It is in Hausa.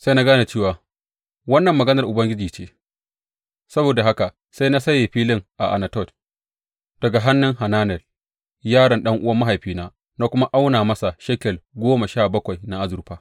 Sai na gane cewa wannan maganar Ubangiji ce; saboda haka sai na saye filin a Anatot daga hannun Hananel yaron ɗan’uwan mahaifina na kuma auna masa shekel goma sha bakwai na azurfa.